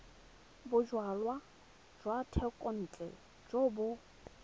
bojalwa jwa thekontle jo bo